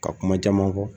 Ka kuma caman fɔ